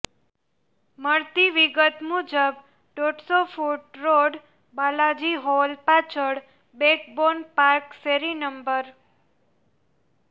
મળતી વિગત મુજબ દોઢસો ફૂટ રોડ બાલાજી હોલ પાછળ બેકબોન પાર્ક શેરી નં